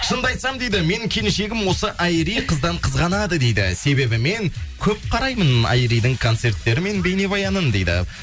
шынымды айтсам дейді менің келіншегім осы айри қыздан қызғанады дейді себебі мен көп қараймын айридің концерттері мен бейнебаянын дейді